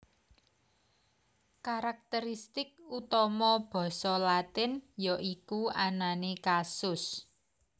Karakteristik utama basa Latinyaiku anané kasus